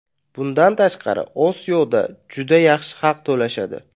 Bundan tashqari, Osiyoda juda yaxshi haq to‘lashadi.